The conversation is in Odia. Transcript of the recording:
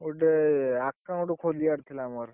ଗୋଟେ, account ଖୋଲିବାର ଥିଲା ମୋର।